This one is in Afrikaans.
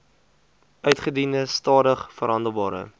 uitgediende stadig verhandelbare